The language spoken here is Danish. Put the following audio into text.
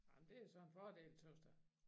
Ej men det er så en fordel tøs da